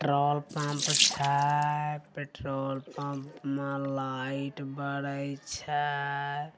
Troll pump छै । Petrol pump मा light बाडी छै ।